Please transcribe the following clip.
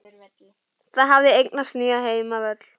Það hafði eignast nýjan heimavöll.